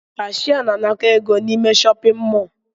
Cashier na-anakọ égo n'ime shọpin mọl.